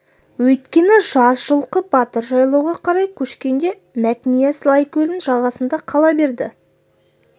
өйткені жаз жылқы батыр жайлауға қарай көшкенде мәтнияз лайкөлдің жағасында қала береді